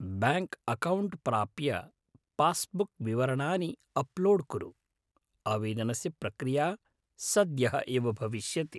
Bank account प्राप्य passbook विवरणानि upload कुरु, आवेदनस्य प्रक्रिया सद्यः एव भविष्यति।